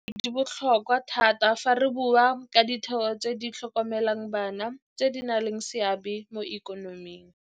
Dikolo tseno di botlhokwa thata fa re bua ka ditheo tse di tlhokomelang bana tse di nang le seabe mo ikonoming.